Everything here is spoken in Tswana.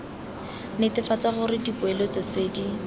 netefatsa gore dipoeletso tse di